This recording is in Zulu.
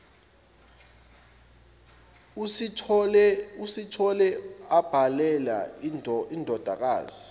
usithole ubhalele indodakazi